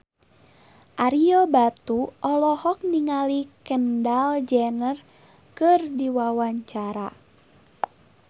Ario Batu olohok ningali Kendall Jenner keur diwawancara